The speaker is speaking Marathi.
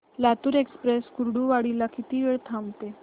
लातूर एक्सप्रेस कुर्डुवाडी ला किती वेळ थांबते